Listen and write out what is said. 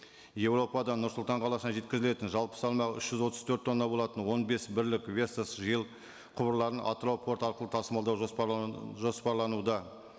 еуропадан нұр сұлтан қаласына жеткізілетін жалпы саны үш жүз отыз төрт тонна болатын он бес бірлік құбырларын атырау порты арқылы тасымалдау жоспарлануда